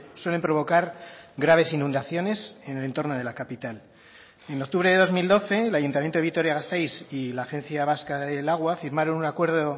suelen provocar graves inundaciones en el entorno de la capital en octubre de dos mil doce el ayuntamiento de vitoria gasteiz y la agencia vasca del agua firmaron un acuerdo